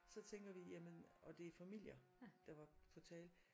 Så tænker vi jamen og det er familier der var på tale